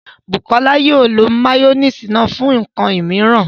Bukọlá yóò lọ mayonnaise náà fún nkan míìran.